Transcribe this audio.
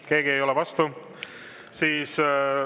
Keegi ei ole vastu.